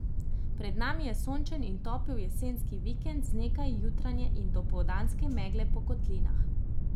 Pred nami je sončen in topel jesenski vikend z nekaj jutranje in dopoldanske megle po kotlinah.